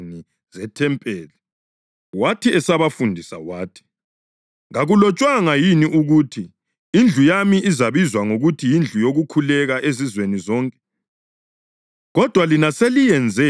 Wathi esabafundisa wathi, “Kakulotshwanga yini ukuthi: ‘Indlu yami izabizwa ngokuthi yindlu yokukhuleka ezizweni zonke’ + 11.17 U-Isaya 56.7 ? Kodwa lina seliyenze ‘ubhalu lwabaphangi.’ + 11.17 UJeremiya 7.11 ”